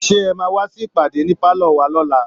Seé ẹ máa wá sí ìpàdé ní pálọ̀ wa lọ́la